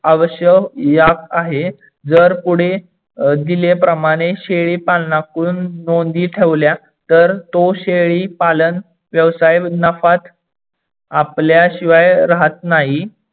आवश्यक आहे. जर पुढे दिले प्रमाणे शेळी पालनाकडून नोंदी ठेवल्या तर तो शेळी पालन व्यवसाय नफात आपल्याशीवाय राहत नाही.